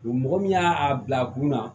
Mɔgɔ min y'a bila a kunna